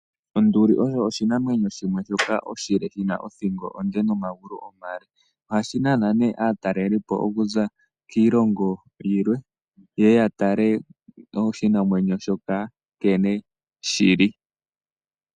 Onduli oyo oshinamwenyo shimwe shoka oshile shina othingo onde nomangulu omale ohashinana ne atalelipo okuza kiilongo yilwe yeye yatale oshinamwenyo shoka nkene shili.